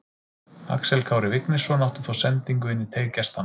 Axel Kári Vignisson átti þá sendingu inn í teig gestanna.